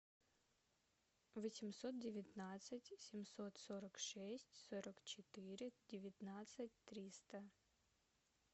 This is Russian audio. восемьсот девятнадцать семьсот сорок шесть сорок четыре девятнадцать триста